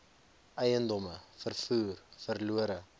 eiendomme vervoer verlore